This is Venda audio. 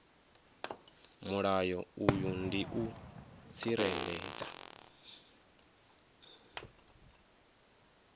mulayo uyu ndi u tsireledza